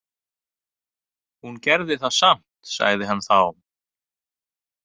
Hún gerði það samt, sagði hann þá.